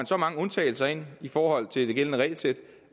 så mange undtagelser ind i forhold til det gældende regelsæt